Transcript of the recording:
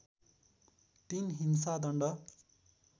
३ हिंसादण्ड